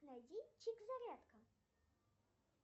найди чик зарядка